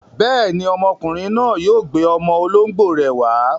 Bẹ́ẹ̀ni, ọmọkùnrin náà yóò gbé ọmọ olóńgbò rẹ̀ wá.